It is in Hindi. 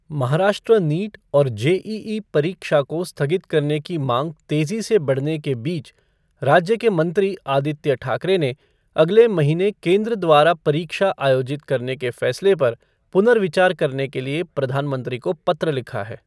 महाराष्ट्र नीटऔर जेइइ परीक्षा को स्थगित करने की मांग तेजी से बढ़ने के बीच राज्य के मंत्री, आदित्य ठाकरे ने अगले महीने केंद्र द्वारा परीक्षा आयोजित करने के फैसले पर पुनर्विचार करने के लिए प्रधानमंत्री को पत्र लिखा है।